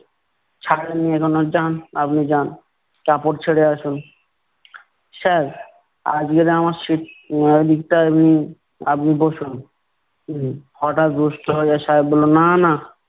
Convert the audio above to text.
ছাড়েননি এখনো? যান আপনি যান কাপড় ছেড়ে আসুন। sir আজগে না আমার আপনি বসুন। হম হটাৎ রুষ্ট হইয়া সাহেব বললো, না না।